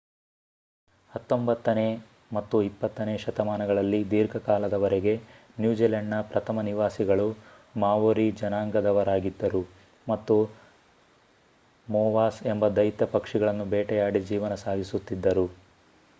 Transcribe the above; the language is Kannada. ಹತ್ತೊಂಬತ್ತನೇ ಮತ್ತು ಇಪ್ಪತ್ತನೇ ಶತಮಾನಗಳಲ್ಲಿ ದೀರ್ಘಕಾಲದವರೆಗೆ ನ್ಯೂಜಿಲೆಂಡ್‌ನ ಪ್ರಥಮ ನಿವಾಸಿಗಳು ಮಾವೊರಿ ಜನಾಂಗದವರಾಗಿದ್ದರು ಮತ್ತು ಮೋವಾಸ್ ಎಂಬ ದೈತ್ಯ ಪಕ್ಷಿಗಳನ್ನು ಬೇಟೆಯಾಡಿ ಜೀವನ ಸಾಗಿಸುತ್ತಿದ್ದರು